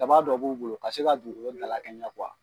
Daba dɔ b'u bolo ka se ka dugukolo dalakɛɲɛ